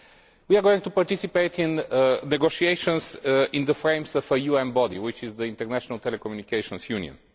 We are going to participate in negotiations in the framework of a UN body which is the International Telecommunications Union.